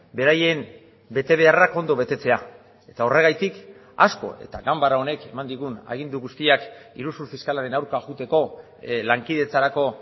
beraien betebeharrak ondo betetzea eta horregatik asko eta ganbara honek eman digun agindu guztiak iruzur fiskalaren aurka joateko lankidetzarako